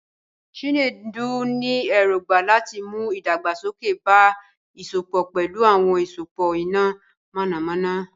Chinedu ní èrògbà láti mú ìdàgbàsókè bá ìsopọ̀ pẹ̀lú àwọn ìsopọ̀ iná mọ̀nàmọ́ná.